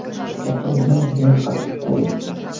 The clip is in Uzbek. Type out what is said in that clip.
Katta o‘g‘lim judayam qattiqqo‘l.